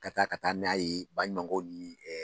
Ka taa ka taa n'a ye baɲumakɛw ni